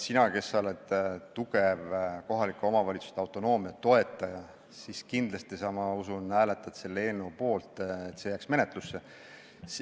Sina, kes sa oled tugev kohalike omavalitsuste autonoomia toetaja, kindlasti, ma usun, hääletad selle poolt, et see eelnõu jääks menetlusse.